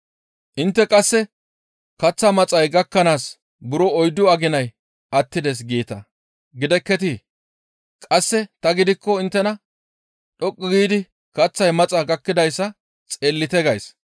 Intte qasse, ‹Kaththa maxay gakkanaas buro oyddu aginay attides› geeta gidekketii? Qasse tani gidikko inttena, ‹Dhoqqu giidi kaththay maxa gakkidayssa xeellite› gays.